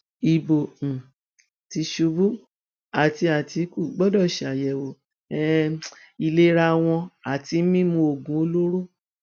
ibo um tìṣubú àti àtìkù gbọdọ ṣàyẹwò um ìlera wọn àti mímú oògùn olóró